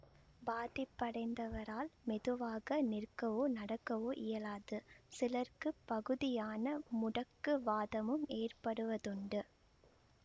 பாதிப்படைந்தவரால் பொதுவாக நிற்கவோ நடக்கவோ இயலாது சிலருக்கு பகுதியான முடக்கு வாதமும் ஏற்படுவதுண்டு